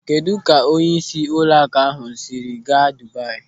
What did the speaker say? Kedụ ka onyeisi ụlọakụ ahụ siri gaa Dubayi?